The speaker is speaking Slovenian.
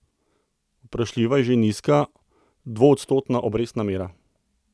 Vprašljiva je že nizka, dvoodstotna obrestna mera.